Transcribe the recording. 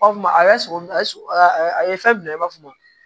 a sogo ye sogo a ye fɛn bila i b'a fɔ ma